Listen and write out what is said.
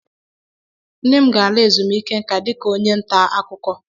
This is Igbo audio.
Nne m ga-ala ezumike nka dika onye nta akuko.